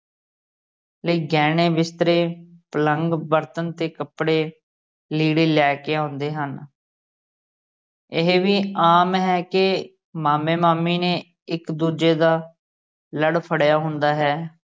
ਲਈ ਗਹਿਣੇ ਬਿਸਤਰੇ, ਪਲੰਘ, ਬਰਤਨ ਤੇ ਕੱਪੜੇ, ਲੀੜੇ ਲੈ ਕੇ ਆਉਂਦੇ ਹਨ ਇਹ ਵੀ ਆਮ ਹੈ ਕੇ ਮਾਮੇ ਮਾਮੀ ਨੇ ਇੱਕ ਦੂਜੇ ਦਾ ਲੜ ਫੜਿਆ ਹੁੰਦਾ ਹੈ।